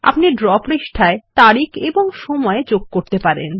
আপনি ড্র পৃষ্ঠায় তারিখ এবং সময় যোগ করতে পারেন